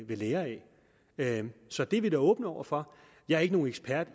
vil lære af så det er vi da åbne over for jeg er ikke nogen ekspert